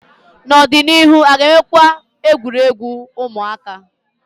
N'ọdịnihu, a ga-enwekwu egwuregwu ụmụaka?